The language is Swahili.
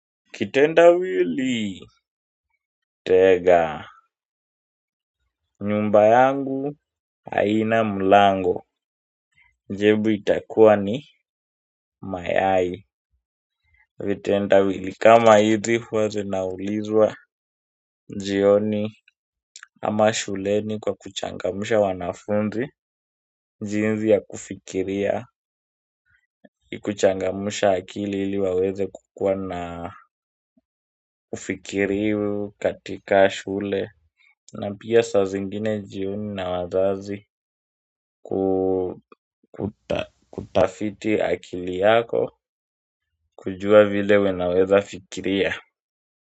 Kitendawili. Tega nyumba yangu haina mlango jibu itakuwa ni Mayai. Vitendawili kama hizi huwa zinaulizwa jioni ama shuleni kwa kuchangamusha wanafunzi jinsi ya kufikiria kuchangamsha akili iliwaweza kuwa na ufikirivu katika shule na pia saa zingine jioni na wazazi kutafiti akili yako kujua vile wanaweza fikiria.